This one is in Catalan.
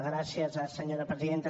gràcies senyora presidenta